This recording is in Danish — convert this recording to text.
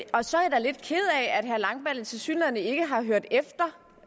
at herre langballe tilsyneladende ikke har hørt efter